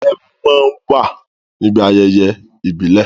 Ẹmu má á ń wà níbi ayẹyẹ ìbílè